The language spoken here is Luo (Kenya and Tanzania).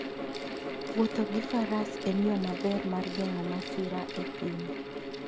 Wuotho gi faras en yo maber mar geng'o masira e thim.